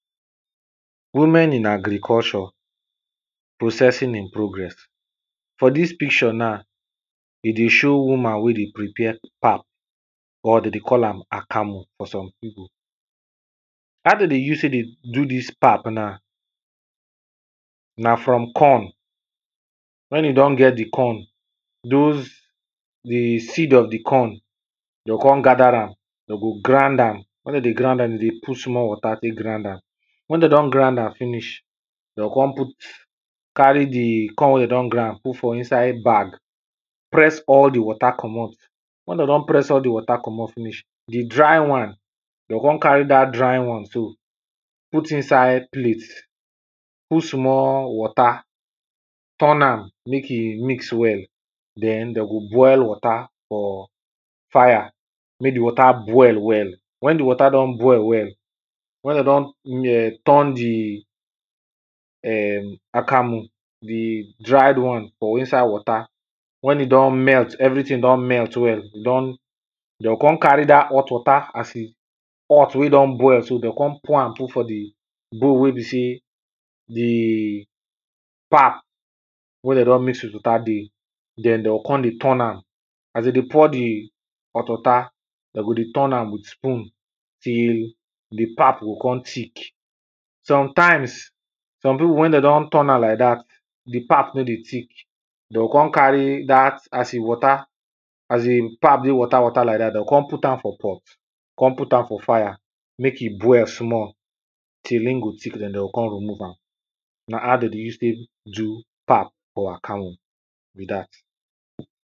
Women in agriculture, processing in progress. For dis picture na, e dey show woman wen dey prepare pap or dem dey call am akamu for some people, how dem dey use take dey do dis pap na, na from corn wen you don get di corn, doz di seed of di corn, dem go come gather am, dem go come grind am, wen dem dey grind am dem dey put small water take grind am, wen dem don ground am finish dem go come put, carry di corn wen dem don grind come put inside bag, press all di water komot, wen dem don press all di water komot finish, di dry one, dem go come carry dat dry one so put inside plate, put small water, turn am make e mix well. Den dem go boil water for fire, make di water boil well, wen di water don boil well, wen dem don um turn di um akamu di dried one, for inside water wen e don melt everything don melt well, e don dem go come carry dat hot water, as e hot wen e don boil so, dem go come pour am put for di bowl wey be sey di pap wen dem don mix with water dey, den dem go come dey turn am. As dem dey pour di hot water, dem go dey turn am with spoon tll di pap go come tick. Sometimes some people wen dem don turn am like dat, di pap no dey tick, dem go come carry as im water, as di pap dey water water like dat, dem go come put am for pot, come put am for fire make e boil small till e go tick, dem go come remove am, na how dem dey take do pap or akamu, be dat.